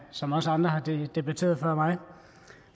som også andre har debatteret før mig